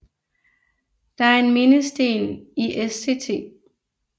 Der er en mindesten i Sct